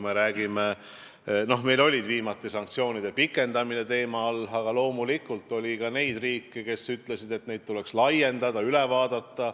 Meil oli seal viimati sanktsioonide pikendamine teemaks, aga loomulikult oli ka riike, kes ütlesid, et neid tuleks laiendada ja üle vaadata.